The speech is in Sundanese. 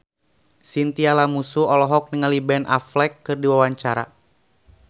Chintya Lamusu olohok ningali Ben Affleck keur diwawancara